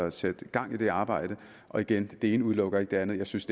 at sætte gang i det arbejde og igen det ene udelukker ikke det andet jeg synes